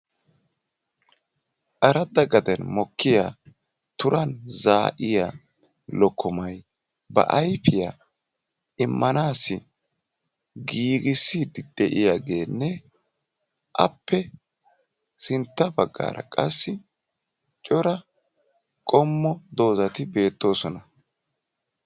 Aradda gaden mokkiya turan zaa"iya lokkomay ba ayipiya immanaassi giigissiidi de"iyaageenne appe sintta baggaara qassi cora qommo doozati beettoosona.